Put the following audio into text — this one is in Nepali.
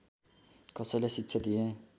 कसैलाई शिक्षा दिएँ